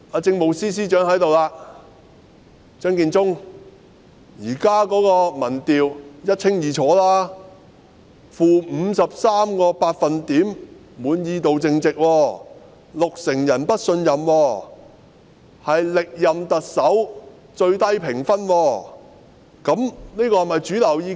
政務司司長張建宗現時在席，而現時的民調一清二楚，政府的滿意度淨值是 -53%， 有六成人不信任，是歷任特首的評分中最低。